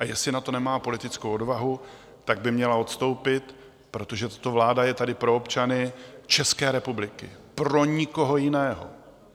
A jestli na to nemá politickou odvahu, tak by měla odstoupit, protože tato vláda je tady pro občany České republiky, pro nikoho jiného.